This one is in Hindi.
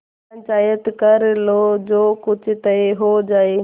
पंचायत कर लो जो कुछ तय हो जाय